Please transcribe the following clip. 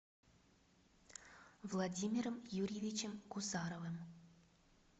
владимиром юрьевичем гусаровым